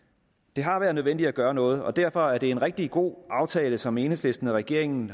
det har været nødvendigt at gøre noget og derfor var det en rigtig god aftale som enhedslisten og regeringen